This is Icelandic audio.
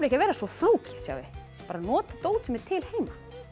að vera svo flókið bara nota dót sem er til heima